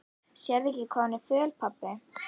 Sérðu ekki hvað hún er föl, pabbi?